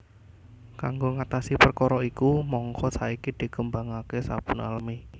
Kanggo ngatasi perkara iku mangka saiki dikembangaké sabun alami